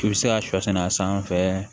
I bɛ se ka sɔ sɛnɛ a sanfɛ